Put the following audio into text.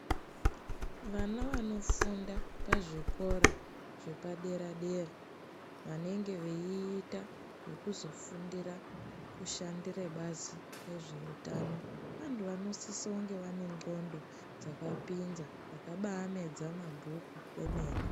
Vana vanofunda pazvikora zvepadera-dera, vanenge veiita zvekuzofundira kushandira bazi rezvehutano. Vantu vanosise kunge vane ndxondo dzakapinza vakaba medza mabhuku kwemene.